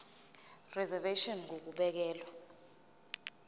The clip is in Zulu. reservation ngur ukubekelwa